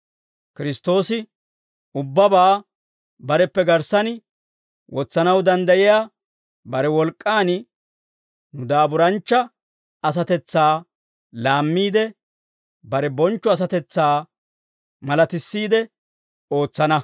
Kiristtoosi ubbabaa bareppe garssan wotsanaw danddayiyaa bare wolk'k'an, nu daaburanchcha asatetsaa laammiide, bare bonchcho asatetsaa malatissiide ootsana.